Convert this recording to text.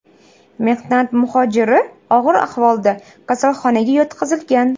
Mehnat muhojiri og‘ir ahvolda kasalxonaga yotqizilgan.